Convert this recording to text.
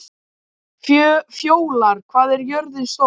Fjólar, hvað er jörðin stór?